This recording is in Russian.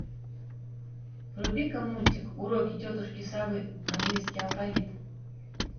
вруби ка мультик уроки тетушки совы английский алфавит